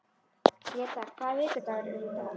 Gréta, hvaða vikudagur er í dag?